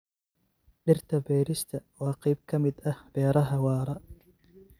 Dhirta beerista waa qayb ka mid ah beeraha waara.